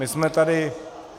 My jsme tady -